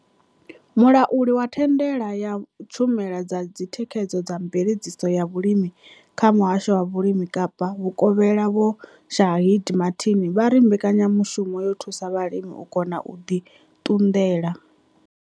Mulauli wa thandela ya tshumelo dza thikhedzo na mveledziso ya vhulimi kha Muhasho wa Vhulimi Kapa Vhukovhela Vho Shaheed Martin vha ri mbekanya mushumo yo thusa vhalimi u kona u ḓi ṱunḓela.